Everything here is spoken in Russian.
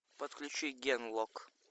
подключи генлок